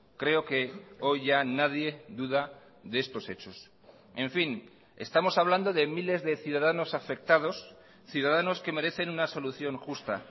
creo que hoy ya nadie duda de estos hechos en fin estamos hablando de miles de ciudadanos afectados ciudadanos que merecen una solución justa